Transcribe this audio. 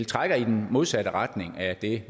trækker i den modsatte retning af det